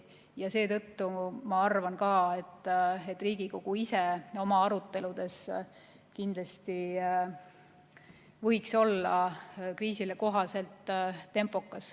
Ja seetõttu ma arvan, et ka Riigikogu ise võiks oma aruteludes olla kriisile kohaselt tempokas.